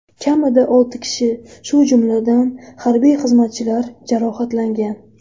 Kamida olti kishi, shu jumladan, harbiy xizmatchilar jarohatlangan.